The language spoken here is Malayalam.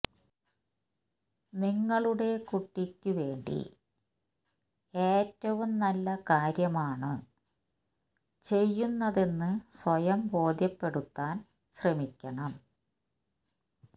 നിങ്ങളുടെ കുട്ടിക്ക് വേണ്ടി ഏറ്റവും നല്ല കാര്യമാണ് ചെയ്യുന്നതെന്ന് സ്വയം ബോധ്യപ്പെടുത്താന് ശ്രമിക്കണം